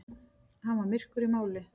Hann var myrkur í máli.